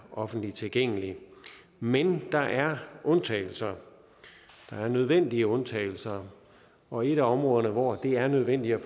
offentligt tilgængelig men der er undtagelser der er nødvendige undtagelser og et af områderne hvor det er nødvendigt at